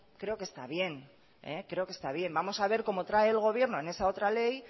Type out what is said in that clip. creo que está bien vamos a ver cómo trae el gobierno en esa otra ley